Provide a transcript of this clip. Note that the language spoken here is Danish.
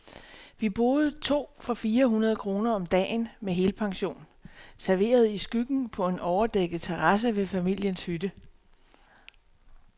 Vi boede to for fire hundrede kroner om dagen, med helpension, serveret i skyggen på en overdækket terrasse ved familiens hytte.